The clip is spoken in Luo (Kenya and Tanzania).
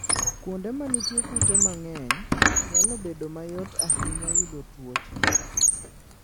Kuonde ma nitie kute mang'eny, nyalo bedo mayot ahinya yudo tuoche.